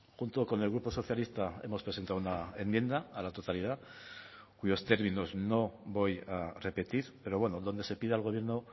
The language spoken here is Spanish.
junto con el grupo socialista hemos presentado una enmienda a la totalidad cuyos términos no voy a repetir pero bueno donde se pide al gobierno